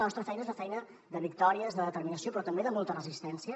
la nostra feina és una feina de victòries de determinació però també de molta resistència